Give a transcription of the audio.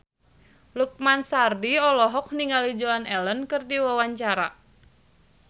Lukman Sardi olohok ningali Joan Allen keur diwawancara